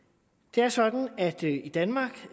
det er sådan at vi i danmark